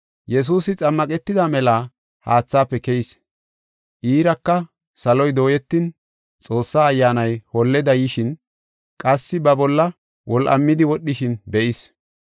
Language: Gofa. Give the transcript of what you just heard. Yesuusi xammaqetida mela haathaafe keyis. Iiraka saloy dooyetin Xoossaa Ayyaanay holleda yishin qassi ba bolla wol7amidi wodhishin be7is.